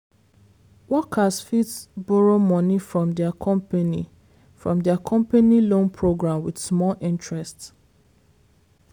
workers fit borrow money from their company from their company loan program with small interest.